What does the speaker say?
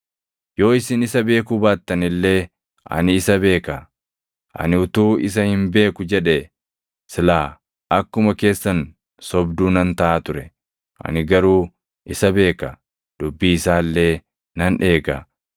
Yoo isin isa beekuu baattan illee ani isa beeka. Ani utuu isa hin beeku jedhee silaa akkuma keessan sobduu nan taʼa ture. Ani garuu isa beeka; dubbii isaa illee nan eega.